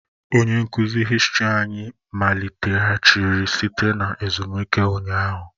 Onye nkuzi hìstiri anyị maliteghachiri site na ezumike ụnyaahụ